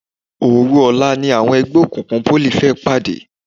Òòru ọ̀la ni àwọn ẹgbẹ́ òkùnkùn Pólì fẹ́ pàdé.